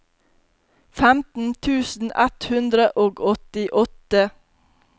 femten tusen ett hundre og åttiåtte